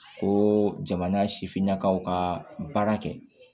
Ko jamana sifinnakaw ka baara kɛ